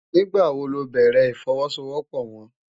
Nigbá wó lò bèrè ifòwòsówòpò wòn?